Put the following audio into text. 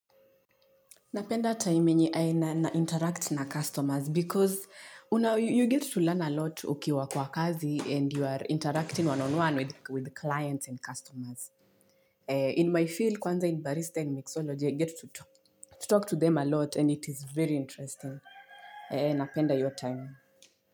Napenda time yenye nainteract na customers because you get to learn a lot ukiwa kwa kazi and you are interacting one-on-one with clients and customers. In my field, kwanza in barista and mixology, I get to talk to them a lot and it is very interesting. Napenda your time.